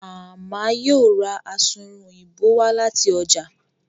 Mama yíò rá Asunrun Òyìnbó wá láti ọjà